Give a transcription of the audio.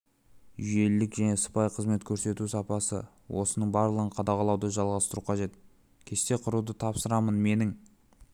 жүйелілік және сыпайы қызмет көрсету сапасы осының барлығын қадағалауды жалғастыру қажет кесте құруды тапсырамын менің